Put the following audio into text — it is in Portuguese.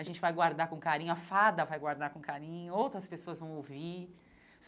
A gente vai guardar com carinho, a fada vai guardar com carinho, outras pessoas vão ouvir.